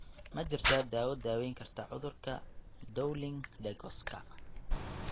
Ma jirtaa dawo daawayn karta cudurka Dowling Degoska?